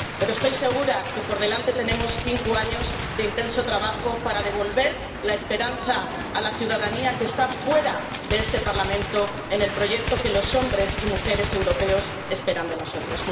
Pero estoy segura de que por delante tenemos cinco años de intenso trabajo para devolver la esperanza a la ciudadanía que está fuera de este Parlamento en el proyecto que los hombres y mujeres europeos esperan de nosotros.